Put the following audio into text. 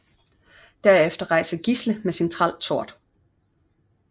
Derefter rejser Gisle med sin træl Tord